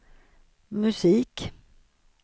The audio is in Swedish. musik